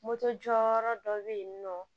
Moto jɔyɔrɔ dɔ bɛ yen nɔ